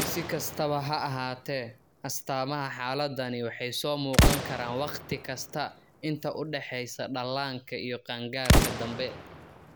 Si kastaba ha ahaatee, astaamaha xaaladdani waxay soo muuqan karaan wakhti kasta inta u dhaxaysa dhallaanka iyo qaangaarka dambe.